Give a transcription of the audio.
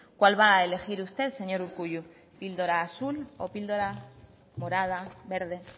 cuál va a elegir usted señor urkullu píldora azul o píldora morada verde